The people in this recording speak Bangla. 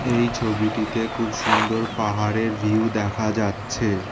এই ছবিটিতে খুব সুন্দর পাহাড়ের ভিউ দেখা যাচ্ছে।